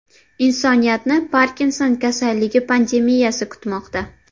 Insoniyatni Parkinson kasalligi pandemiyasi kutmoqda.